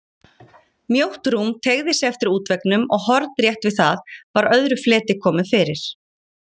Mjótt rúm teygði sig eftir útveggnum og hornrétt við það var öðru fleti komið fyrir.